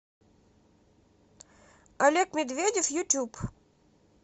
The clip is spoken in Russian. олег медведев ютюб